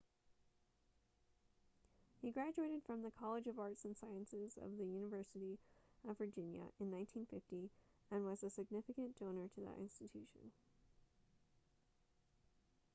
he graduated from the college of arts & sciences of the university of virginia in 1950 and was a significant donor to that institution